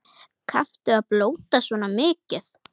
Kanntu að blóta svona mikið?